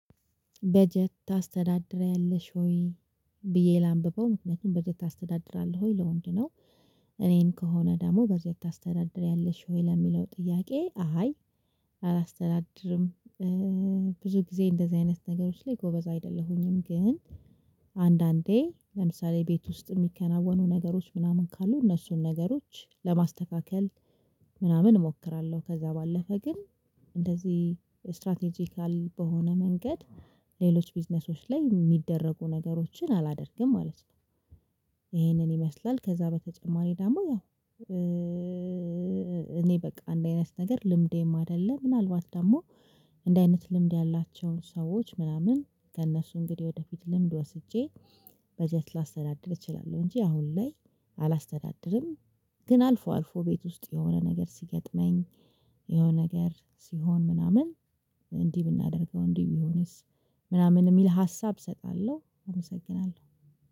በጀት ታስተዳድሪአለሽ ወይ ብዬ ላንብበው ምክንያቱም በጀት ታስተዳድራለህ ወይ ለወንድ ነው? እኔን ከሆነ ደግሞ በጀት ታስተዳድሪያለሽ ወይ ለሚለው ጥያቄ? አይ አላስተዳድርም። ብዙ ጊዜ እንደዚህ አይነት ነገሮች ላይ ጎበዝ አይደለሁኝም። ግን አንዳንዴ ለምሳሌ ቤት ውስጥ የሚከናወኑ ነገሮች ምናምን ካሉ እነሱን ነገሮች ለማስተካከል ምናምን እሞክራለሁ። ከዛ ባለፈ ግን እንደዚህ ስትራቴጂካል በሆነ መንገድ ሌሎች ቢዝነሶች ላይ የሚደረጉ ነገሮችን አላደርግም ማለት ነው። ይሄንን ይመስላል ከዛ በተጨማሪ ደግሞ ያው እኔ በቃ አንዲ አይነት ነገር ልምዴም አይደለም። ምናልባት ደግሞ እንዲ አይነት ልምድ ያላቸውን ሰዎች ምናምን ከእነሱ እንግዲህ ወደፊት ልምድ ወስጄ በጀት ላስተዳድር እችላለሁ። እንጂ አሁን ላይ አላስተዳድርም። ግን አልፎ አልፎ ቤት ውስጥ የሆነ ነገር ሲገጥመኝ የሆነ ነገር ሲሆን ምናምን እንዲህ ብናደርገው እንዲህ ቢሆንስ ምናምን እሚል ሀሳብ እሰጣለሁ። አመሰግናለሁ